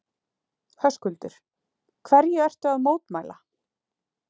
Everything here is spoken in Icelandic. Höskuldur: Hverju ertu að mótmæla?